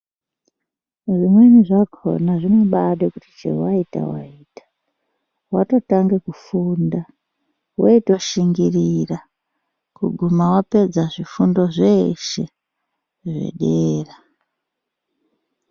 Zvimweni zvakona zvibaa ngekuti chero waita waita, watotange kufunda iwe itoshingirira kuguma wapedza zvifundo zveshe zvedera.